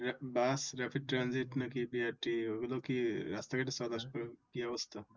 Bus Rapid Tranzit নাকি BRT ওইগুলো কি রাস্তাঘাটে চলে আসবে কি অবস্থা